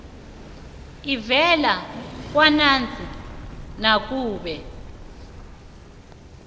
evela kwanac nakube